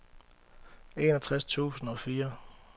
enogtres tusind og fire